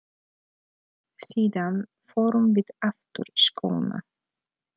Síðan förum við aftur í skóna.